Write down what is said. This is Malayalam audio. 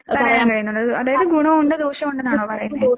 അതായത് ഗുണോവൊണ്ട് ദോഷോവൊണ്ടെന്നാണോ പറയുന്നേ?